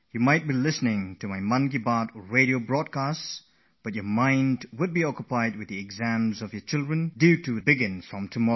While listening to this month's Mann Ki Baat, my inner thoughts, your mind must also be on your children's exams which begin soon